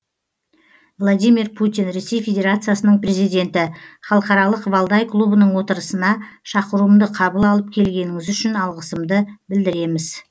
владимир путин ресей федерациясының президенті халықаралық валдай клубының отырысына шақыруымды қабыл алып келгеніңіз үшін алғысымды білдіреміз